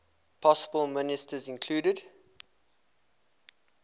possible ministers included